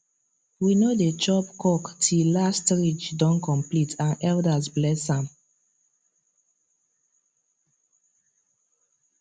we no dey chop cock till last ridge don complete and elders bless am